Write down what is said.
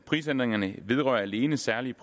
prisændringerne vedrører alene særlige